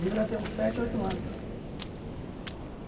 Devia ter uns sete, oito anos.